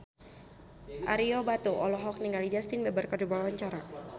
Ario Batu olohok ningali Justin Beiber keur diwawancara